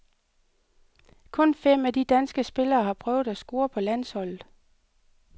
Kun fem af de danske spillere har prøvet at score på landsholdet.